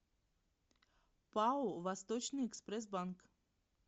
пао восточный экспресс банк